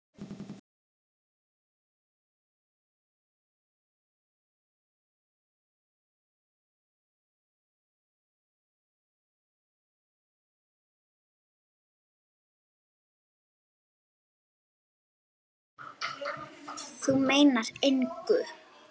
Þú meinar engu!